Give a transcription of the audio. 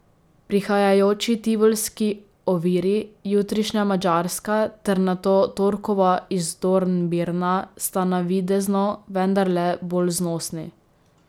Prihajajoči tivolski oviri, jutrišnja madžarska ter nato torkova iz Dornbirna, sta navidezno vendarle bolj znosni.